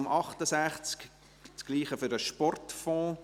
Traktandum 68 – dasselbe für den Sportfonds.